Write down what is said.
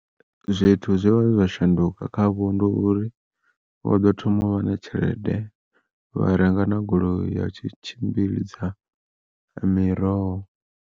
Zwithu zwe vha shanduka kha vho ndi uri, vho ḓo thoma uvha na tshelede vha renga na goloi ya tshi tshimbidza ya miroho.